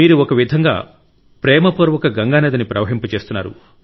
మీరు ఒక విధంగా ప్రేమ పూర్వక గంగానదిని ప్రవహింపజేస్తున్నారు